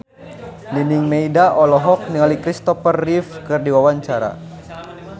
Nining Meida olohok ningali Christopher Reeve keur diwawancara